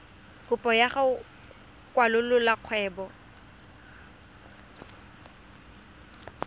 kopo ya go kwalolola kgwebo